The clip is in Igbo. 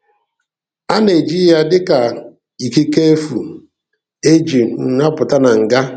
A na-eji ya dị ka ikike efu e ji um apụta na ngá.